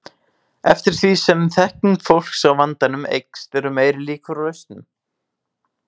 Eftir því sem þekking fólks á vandanum eykst eru meiri líkur á lausnum.